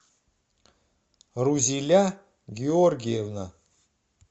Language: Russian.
рузиля георгиевна